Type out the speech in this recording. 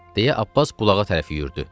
deyə Abbas bulağa tərəf yüyürdü.